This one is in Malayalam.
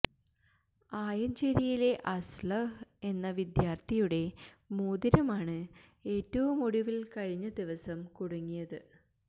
ആയഞ്ചേരിയിലെ അസ്ളഹ് എന്ന വിദ്യാർത്ഥിയുടെ മോതിരമാണ് ഏറ്റവും ഒടുവിൽ കഴിഞ്ഞ ദിവസം കുടുങ്ങിയത്